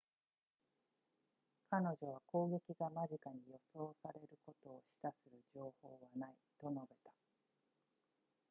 彼女は攻撃が間近に予想されることを示唆する情報はないと述べた